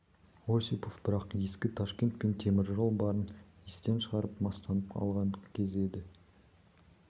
осипов бірақ ескі ташкент пен темір жол барын естен шығарып мастанып алған кезі еді